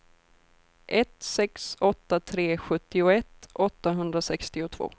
ett sex åtta tre sjuttioett åttahundrasextiotvå